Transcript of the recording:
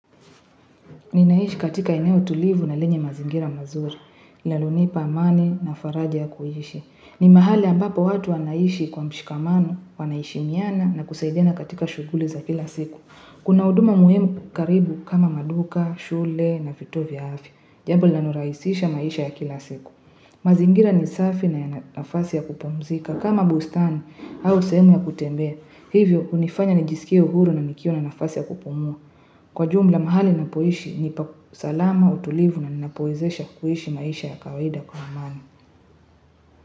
Ninaishi katika eneo tulivu na lenye mazingira mazuri, linalonipa amani na faraja ya kuishi. Ni mahali ambapo watu wanaishi kwa mshikamano, wanaheshimiana na kusaidiana katika shughuli za kila siku. Kuna huduma muhimu karibu kama maduka, shule na viotuo vya afya, jambo lanlorahisisha maisha ya kila siku. Mazingira ni safi na yana nafasi ya kupumzika, kama bustani au sehemu ya kutembea, hivyo hunifanya nijisikie uhuru na nikiwa na nafasi ya kupumua. Kwa jumla mahali napoishi ni salama utulivu na ninapowezesha kuishi maisha ya kawaida kwa amani.